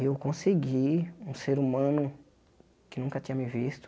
E eu consegui um ser humano que nunca tinha me visto.